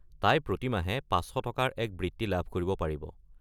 তাই প্ৰতি মাহে ৫০০ টকাৰ এক বৃত্তি লাভ কৰিব পাৰিব।